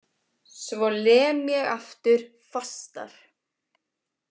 Svo lem ég aftur, fastar.